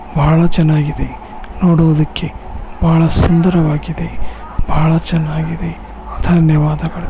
ಬಹಳ ಚೆನ್ನಾಗಿದೆ ನೋಡುವುದಕ್ಕೆ ಬಹಳ ಸುಂದರವಾಗಿದೆ. ಬಹಳ ಚೆನ್ನಾಗಿದೆ ಧನ್ಯವಾದಗಳು.